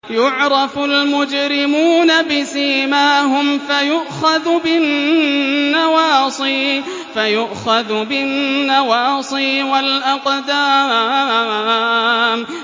يُعْرَفُ الْمُجْرِمُونَ بِسِيمَاهُمْ فَيُؤْخَذُ بِالنَّوَاصِي وَالْأَقْدَامِ